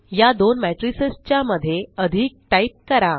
या दोन मेट्रिसस च्या मध्ये अधिक टाइप करा